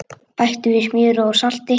Bætti við smjöri og salti.